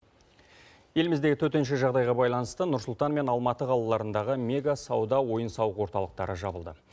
еліміздегі төтенше жағдайға байланысты нұр сұлтан мен алматы қалаларындағы мега сауда ойын сауық орталықтары жабылды